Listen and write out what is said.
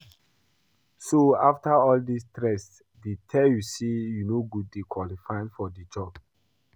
So after all the stress dey tell you say you no dey qualified for the job?